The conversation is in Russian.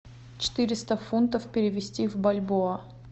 четыреста фунтов перевести в бальбоа